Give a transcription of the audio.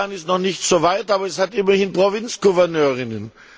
Afghanistan ist noch nicht so weit, aber es hat immerhin Provinzgouverneurinnen.